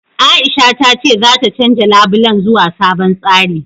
Aisha ta ce zata canja labulen zuwa sabon tsari.